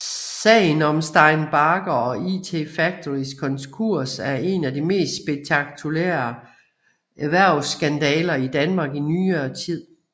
Sagen om Stein Bagger og IT Factorys konkurs er en af de mest spektakulære erhvervsskandaler i Danmark i nyere tid